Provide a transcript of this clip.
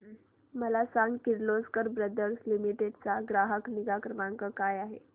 मला सांग Kirloskar brother limited चा ग्राहक निगा क्रमांक काय आहे